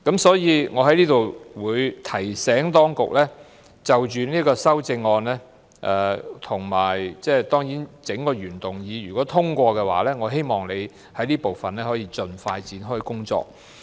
所以，我在此提醒當局，如果這項修正案及整個原議案獲得通過，我希望當局就這部分盡快展開工作。